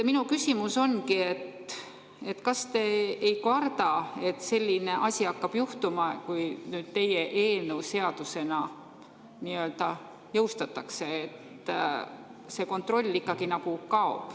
Minu küsimus ongi: kas te ei karda, et selline asi hakkab juhtuma, kui teie eelnõu seadusena jõustatakse ja see kontroll ikkagi kaob?